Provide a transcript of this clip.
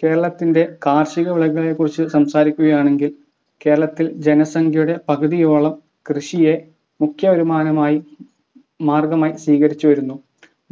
കേരളത്തിൻ്റെ കാർഷിക വിളകളെ കുറിച്ച്‌ സംസാരിക്കുകയാണെങ്കിൽ കേരളത്തിൽ ജനസംഖ്യയുടെ പകുതിയോളം കൃഷിയെ മുഖ്യ വരുമാനമായി മാർഗ്ഗമായി സ്വീകരിച്ചിരിക്കുന്നു